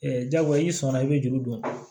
jagoya i sɔnna i bɛ juru don